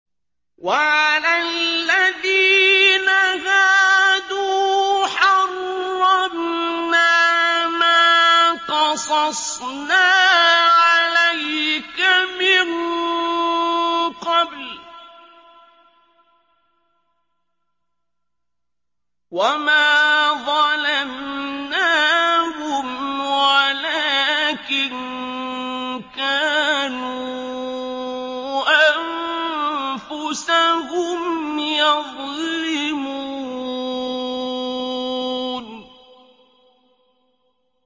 وَعَلَى الَّذِينَ هَادُوا حَرَّمْنَا مَا قَصَصْنَا عَلَيْكَ مِن قَبْلُ ۖ وَمَا ظَلَمْنَاهُمْ وَلَٰكِن كَانُوا أَنفُسَهُمْ يَظْلِمُونَ